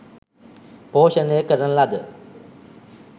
පෝෂණය කරන ලද